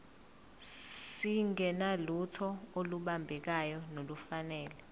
singenalutho olubambekayo nolufanele